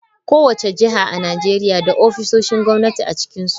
Kowace jiha a Najeriya na da ofisoshin gwamnati a cikinsu.